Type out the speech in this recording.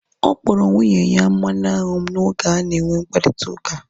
Ọ kpọrọ nwunye ya mmanụ anwụ m oge ha na enwe mkparịta ụka